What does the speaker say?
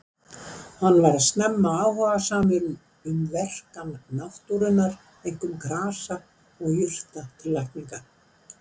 Hann varð snemma áhugasamur um verkan náttúrunnar, einkum grasa og jurta til lækninga.